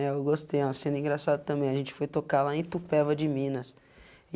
Ne, eu gostei, uma cena engraçada também, a gente foi tocar lá em Itupéva de Minas.